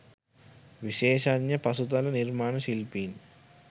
විශේෂඥ පසුතල නිර්මාණ ශිල්පීන්